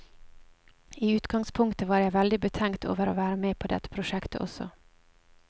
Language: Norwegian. I utgangspunktet var jeg veldig betenkt over å være med på dette prosjektet også.